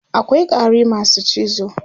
akwai ƙwari masu cizo